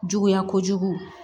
Juguya kojugu